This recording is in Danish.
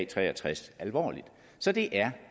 tre og tres alvorligt så det er